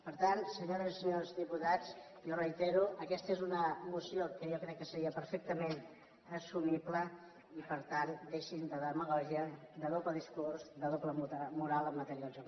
per tant senyores i senyors diputats jo ho reitero aques ta és una moció que jo crec que seria perfectament assu mible i per tant deixin se de demagògia de doble discurs i de doble moral en matèria del joc